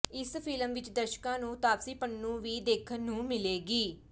ਇਸ ਫਿਲਮ ਵਿੱਚ ਦਰਸ਼ਕਾਂ ਨੂੰ ਤਾਪਸੀ ਪੰਨੂ ਵੀ ਦੇਖਣ ਨੂੰ ਮਿਲੇਗੀ